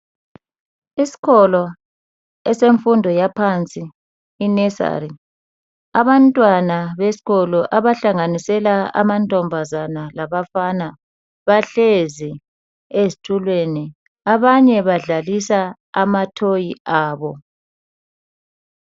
Iskolo esemfundo yaphansi i nursery abantwana beskolo abahlanganisela amantombazana labafana bahlezi ezitulweni abanye badlalisa ama toy abo.